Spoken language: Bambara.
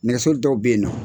Nɛgɛso dɔw bɛyinnɔ.